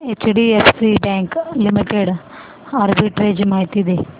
HDFC Bank Limited arbitrage माहिती दे